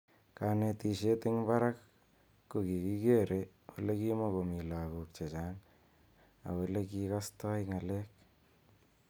Kanetishet ing parak ko kikikeree ole kimogomii lakok chechang ak ole ki kastoi ngalek